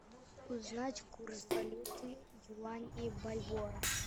узнать курс валюты юань и бальбоа